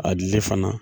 A dili fana